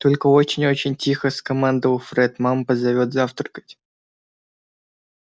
только очень очень тихо скомандовал фред мама позовёт завтракать